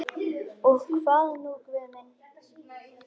Og hvað nú Guð minn?